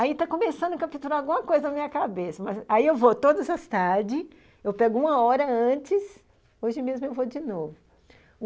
Aí está começando a capturar alguma coisa na minha cabeça, mas aí eu vou todas as tardes, eu pego uma hora antes, hoje mesmo eu vou de novo.